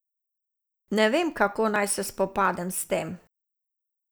Ne vem, kako naj se spopadem s tem.